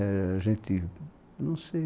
Éh... gente... não sei.